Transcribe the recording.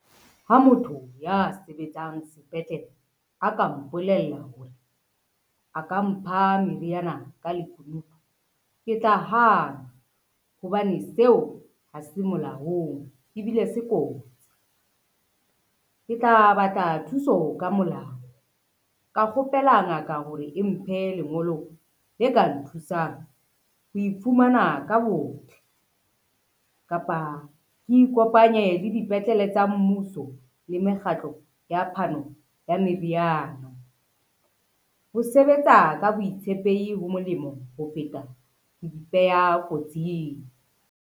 Ha motho ya sebetsang sepetlele a ka mpolella hore a ka mpha meriana ka lekunutu, ke tla hana hobane seo ha se molaong ebile se kotsi. Ke tla batla thuso ka molao, ka kgopela ngaka hore e mphe lengolo le ka nthusang ho ifumana ka botle, kapa ke ikopanye le dipetlele tsa mmuso le mekgatlo ya phano ya meriana. Ho sebetsa ka boitshepehi ho molemo ho feta ho ipeha kotsing.